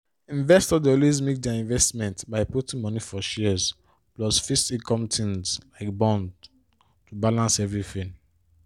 investors dey always mix their investment by putting money for shares plus fixed-income things like bonds to balance everything